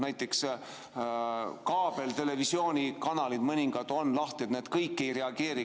Näiteks mõningad kaabeltelevisiooni kanalid on lahti, need kõik ei reageeri.